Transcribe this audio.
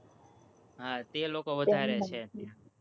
હા, તે લોકો વધારે છે,